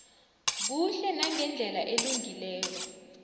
kuhle nangendlela elungileko